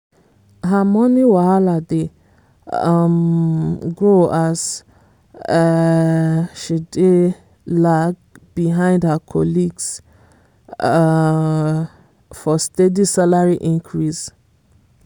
her money wahala dey um grow as um she dey lag behind her colleagues um for steady salary increase.